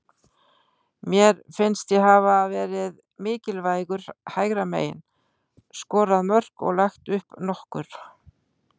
Mér finnst ég hafa verið mikilvægur hægra megin, skorað mörk og lagt upp nokkur.